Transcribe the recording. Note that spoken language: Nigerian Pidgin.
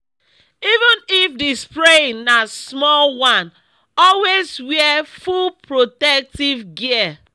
even if the spraying na small one always wear full protective gear.